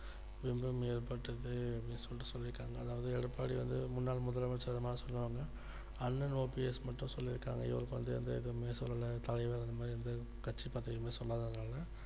இன்னும் ஏற்பட்டிருக்கு அப்படின்னு சொல்லிட்டு சொல்லி இருக்காங்க அதாவது எடப்பாடி வந்து முன்னாள் முதலமைச்சர் னு சொல்லிட்டாங்க அண்ணன் OPS மட்டும் சொல்லிருக்காங்க இவருக்கு வந்துஎந்த இதுமே சொல்லல தலைவர் இந்தமாறி எந்த கட்சி பதவின்னு சொல்லாதனால